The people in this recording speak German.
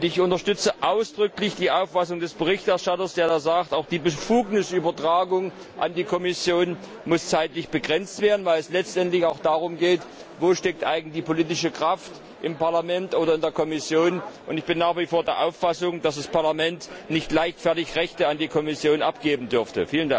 Ich unterstütze ausdrücklich die Auffassung des Berichterstatters, der da sagt, auch die Befugnisübertragung an die Kommission muss zeitlich begrenzt werden, weil es letztendlich auch darum geht, wo eigentlich die politische Kraft steckt, im Parlament oder in der Kommission. Ich bin nach wie vor der Auffassung, dass das Parlament nicht leichtfertig Rechte an die Kommission abgeben dürfte.